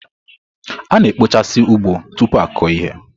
A na-ekpochasị ugbo tupu akụo ihe.